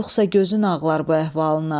Yoxsa gözün ağlar bu əhvalına.